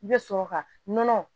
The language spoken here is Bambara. I bɛ sɔrɔ ka nɔnɔ